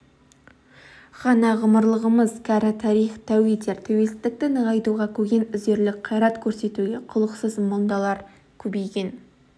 ғана ғұмырлымыз кәрі тарих тәу етер тәуелсіздікті нығайтуға көген үзерлік қайрат көрсетуге құлықсыз мұндарлар көбейген